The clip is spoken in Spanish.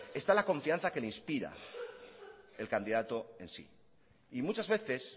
está la confianza que le inspira el candidato en sí y muchas veces